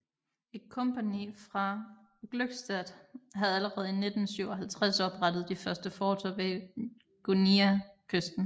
Et kompagni fra Glückstadt havde allerede i 1657 oprettet de første forter ved Guineakysten